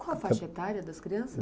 Qual a faixa etária das crianças?